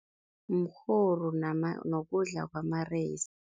Mrhoru nokudla kwamareyisi.